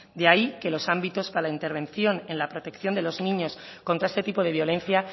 de ahí que los ámbitos a la intervención en la protección de los niños contra este tipo de violencia